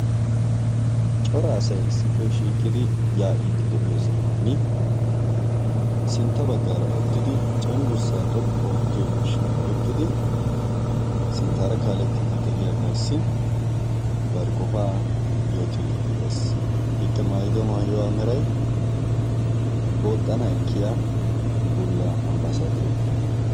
Cora asay issippe shiiqidi yaa"iidi de"iyo sohaani sintta baggaara uttidi cengursaa xoqqu oottiyo miishshaa oyiqqidi sintaara kaalettidi de"iyagaassi bari qofaa yootiidi de"es. Ikka maayido maayuwa meray booxxana ekkiya bulla ambaasaaderiya.